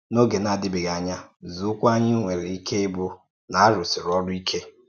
N’ógè na-adìbèghì ànyà, ǹzòụ́kwụ́ ànyì nwèrè um ìké íbụ̀ um na a rùsìrì órù íkè.